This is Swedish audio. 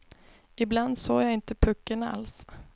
Ibland såg jag inte pucken alls.